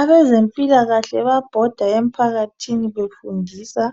Abezempilakahle babhoda emphakathini befundisa